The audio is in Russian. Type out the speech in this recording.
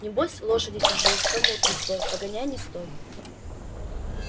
небось лошади чужие хомут не свой погоняй не стой